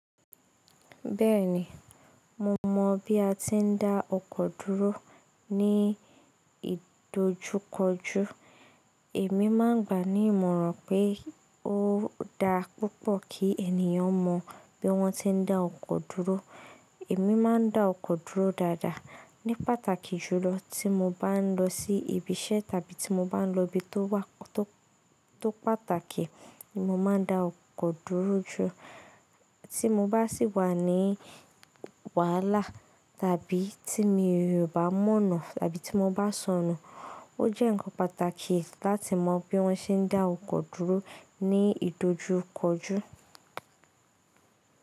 Bẹ́ẹ̀ni, mo mọ̀ bí a ti ń dá ọkọ̀ dúró ní ìdojúkọjú. Èmi máa ń gbà ní ìmọ̀ràn pé ó dá púpọ̀ kí ènìyàn mọ bí wọ́n ti ń dá ọkọ̀ dúró. Èmi máa ń dá ọkọ̀ dúró dáadáa. Ni pàtàkì jùlọ tí mo bá ń lọ sí ibi iṣẹ́ tàbí tí mo bá ń lọ ibi tó wa to pàtàkì, ni mo máa ń dá ọkọ̀ dúró ju. Tí mo bá sì wà ní wàhálà tàbí tí mo bá mọ̀nà tàbí tí mo bá sọnù, ó jẹ́ ǹkan pàtàkì láti mọ bí wọ́n ṣe ń dá ọkọ̀ dúró ní ìdojúkọjú.